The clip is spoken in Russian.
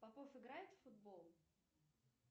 попов играет в футбол